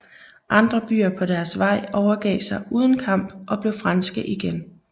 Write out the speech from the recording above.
Andre byer på deres vej overgav sig uden kamp og blev franske igen